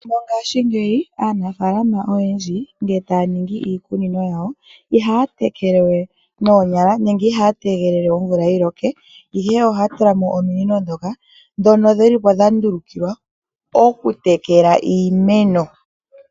Mongaashingeyi aanafaalama oyendji ngele taya ningi iikunino yawo ihaya tekele we noonyala nenge ihaya tegelela omvula yiloke ihe ohaya tulamo ominini ndhoka ,ndhono dhilipo dha ndulukilwa oku tekela iimeno